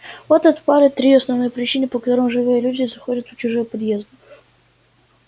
вот и отпали три основные причины по которым живые люди заходят в чужие подъезды